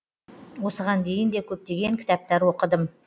осыған дейін де көптеген кітаптар оқыдым